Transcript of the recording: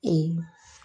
Ee